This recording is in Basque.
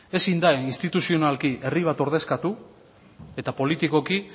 ezin da instituzionalki herri bat ordezkatu eta politikoki